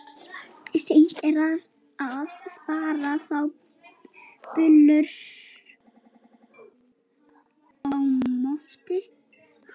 Seint er að spara þá bylur á botni.